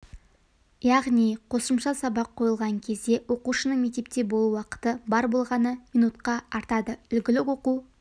яғни қосымша сабақ қойылған кезде оқушының мектепте болу уақыты бар болғаны минутқа артады үлгілік оқу